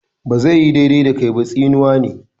"Ba zai yi daidai da kai ba" tsinuwa ne.